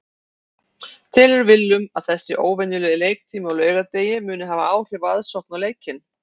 Telur Willum að þessi óvenjulegi leiktími á laugardegi muni hafa áhrif á aðsókn á leikinn?